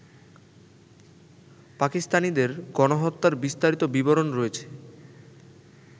পাকিস্তানিদের গণহত্যার বিস্তারিত বিবরণ রয়েছে